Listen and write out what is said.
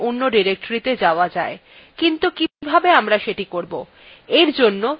কিন্তু কিভাবে আমরা এটি করবো এর জন্য cd command ব্যবহার করতে have